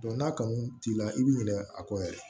n'a kanu t'i la i b'i ɲinɛ a kɔ yɛrɛ